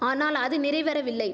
ஆனால் அது நிறைவேறவில்லை